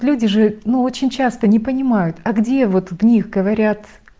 люди же ну очень часто не понимают а где вот в них говорят